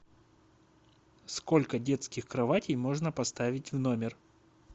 сколько детских кроватей можно поставить в номер